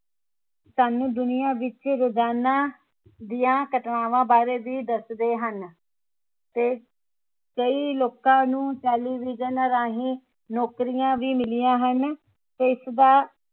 ਸਾਨੂ ਦੁਨੀਆ ਵਿਚ ਰੋਜਾਨਾ ਦੀਆਂ ਘਟਨਾਵਾਂ ਬਾਰੇ ਵੀ ਦੱਸਦੇ ਹਨ ਤੇ ਕਈ ਲੋਕਾਂ ਨੂੰ television ਰਾਹੀਂ ਨੌਕਰੀਆਂ ਵੀ ਮਿਲਿਆ ਹਨ ਤੇ ਇਸਦਾ